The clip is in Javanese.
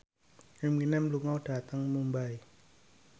Eminem lunga dhateng Mumbai